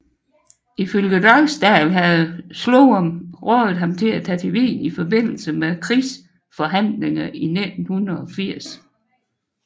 Ifølge Dragsdahl havde Sloan rådet ham til at tage til Wien i forbindelse med nedrustningsforhandlinger i 1980